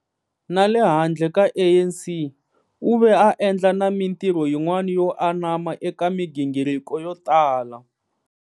Na le handle ka ANC, u ve a endla na mintirho yin'wana yo anama eka migingiriko yo tala.